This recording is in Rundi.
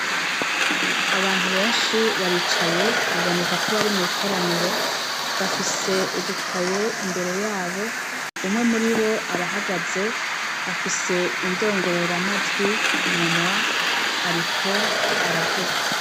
Abantu benshi baricaye, bibonekako bari mwikoraniro, bafise ubukaye imbere yabo, umwe muribo arahagaze afise indongororamajwi kumunwa ariko aravuga.